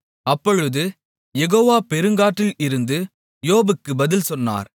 அப்பொழுது யெகோவா பெருங்காற்றில் இருந்து யோபுக்கு பதில் சொன்னார்